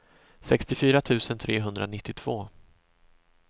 sextiofyra tusen trehundranittiotvå